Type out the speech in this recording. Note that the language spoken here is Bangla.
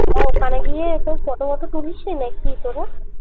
ওখান গিয়ে সব photo মটো তুলিসনি না কি তোরা?